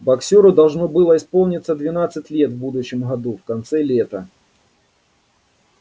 боксёру должно было исполниться двенадцать лет в будущем году в конце лета